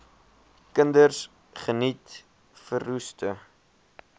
kinders geniet verroeste